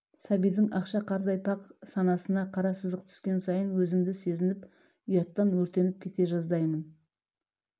сәбидің ақша қардай пәк санасына қара сызық түскен сайын өзімді сезініп ұяттан өртеніп кете жаздаймын